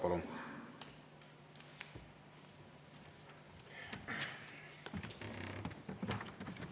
Palun!